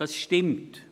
Das stimmt.